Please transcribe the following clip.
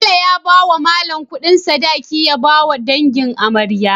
Bello ya bawa mallan Ƙudin sadaki ya bawa dangin amarya